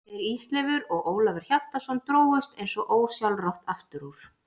Þeir Ísleifur og Ólafur Hjaltason drógust eins og ósjálfrátt aftur úr.